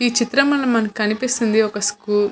ఈ చిత్రం లో మనకి కనిపిస్తుంది ఒక స్కూల్ --